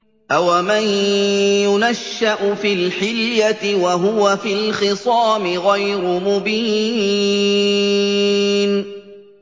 أَوَمَن يُنَشَّأُ فِي الْحِلْيَةِ وَهُوَ فِي الْخِصَامِ غَيْرُ مُبِينٍ